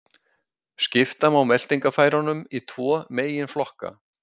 Skipta má meltingarfærunum í tvo megin flokka.